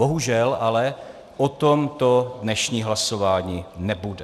Bohužel ale o tomto dnešní hlasování nebude.